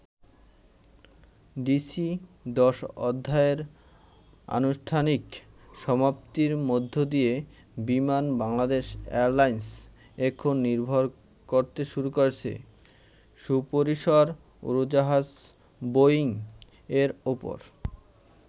DC-10 অধ্যায়ের আনুষ্ঠানিক সমাপ্তির মধ্য দিয়ে বিমান বাংলাদেশ এয়ারলাইন্স এখন নির্ভর করতে শুরু করেছে সুপরিসর উড়োজাহাজ বোয়িং এর উপর।